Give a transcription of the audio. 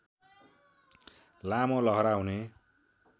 लामो लहरा हुने